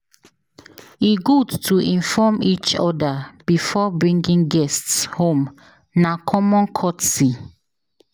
E good to inform each other before bringing guests home; na common courtesy.